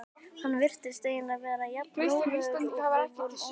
Hann virtist eiginlega vera jafn rólegur og við vorum óþolinmóð.